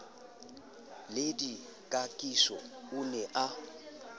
le dikakiso o ne a